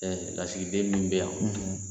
Ɛɛ lasigilen min bɛ yan